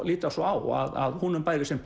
líta svo á að honum bæri sem